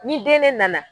Ni den ne nana